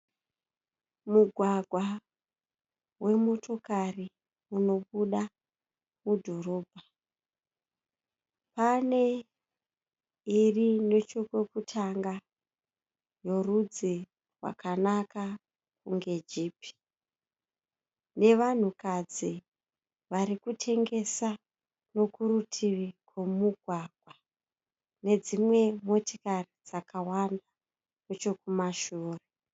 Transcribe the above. Mugwagwa wemotokari unobuda mudhorobha, pane iri nechokokutanga yorudzi rwakanaka kunge jipi nevanhukadzi varikutengesa nokurutivi kwemugwagwa nedzimwe motikari dzakawanda nechokumashure.